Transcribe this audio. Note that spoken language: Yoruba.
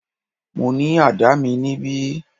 Mo ní àdá mi níbí.